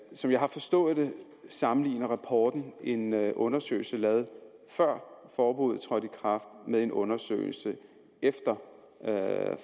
som jeg har forstået det sammenligner rapporten en undersøgelse lavet før forbuddet trådte i kraft med en undersøgelse efter